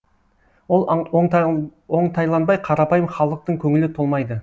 ол оңтайланбай қарапайым халықтың көңілі толмайды